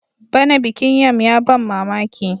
bana bikin yam ya ban mamaki